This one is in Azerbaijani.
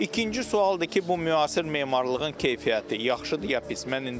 İkinci sualdır ki, bu müasir memarlığın keyfiyyəti yaxşıdır, ya pis.